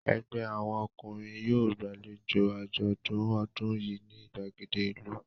Ẹgbẹ́ àwọn ọkùnrin yóò gbàlejò àjọ̀dún ọdún yìí ní ìgbàgede ìlú.